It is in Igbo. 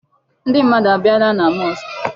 Ndị mmadụ abịala na mosque?